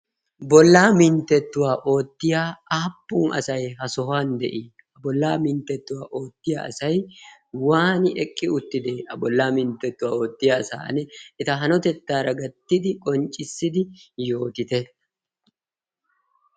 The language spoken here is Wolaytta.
Bollaa minttettuwaa oottiya aappun asay? ha sohuwan de'i? A bollaa minttettuwaa oottiya asay waani eqqi utti de'ees. a bollaa minttettuwaa oottiya asaan eta hanotettaara gattidi qonccissidi yootite